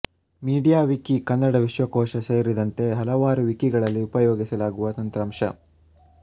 MediaWiki Kannada ವಿಶ್ವಕೋಶ ಸೇರಿದಂತೆ ಹಲವಾರು ವಿಕಿಗಳಲ್ಲಿ ಉಪಯೋಗಿಸಲಾಗುವ ತಂತ್ರಾಂಶ